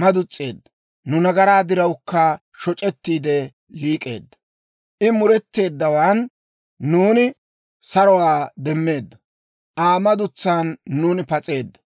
maduns's'eedda; nu nagaraa dirawukka shoc'ettiide liik'eedda. I muretteeddawaan, nuuni saruwaa demmeeddo; Aa madutsan nuuni pas'eeddo.